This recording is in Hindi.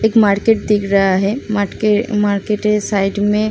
एक मार्केट दिख रहा है। मार्के मार्केट के साइड में --